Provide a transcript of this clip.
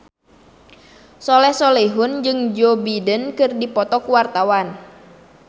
Soleh Solihun jeung Joe Biden keur dipoto ku wartawan